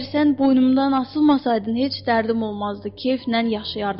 Əgər sən boynumdan asılmasaydın, heç dərdim olmazdı, keyflə yaşayardım.